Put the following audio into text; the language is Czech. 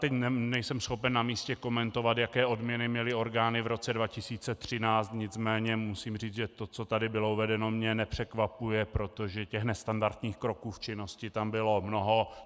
Teď nejsem schopen na místě komentovat, jaké odměny měly orgány v roce 2013, nicméně musím říct, že to, co tady bylo uvedeno, mě nepřekvapuje, protože těch nestandardních kroků v činnosti tam bylo mnoho.